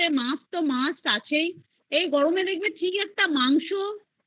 মাছ আছেই আর এই গরমে ঠিক একটা মাংস খেতে